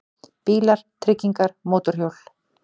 BÍLAR, TRYGGINGAR, MÓTORHJÓL